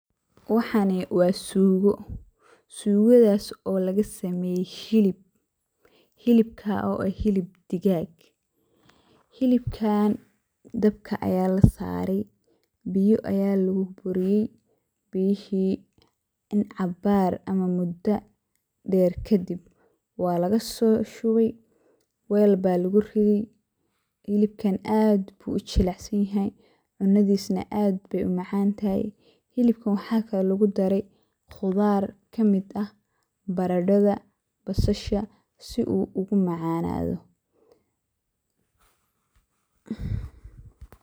Waxani wa sugo, sugadas oo lagasameye hilib oo eh hilib digaag ah. Hilibkan dabka aya lasaray biyo aya luguburiye biyihi cabaar ama mudo deer kadib walasoshubay weel aya luguriday. Hilibkan aad ayu ujilcan yahay cunadisana aad ayey umacantahay, hilibkan wax kalo lugudare qudar kamid ah baradhada, basasha si uu umacanado.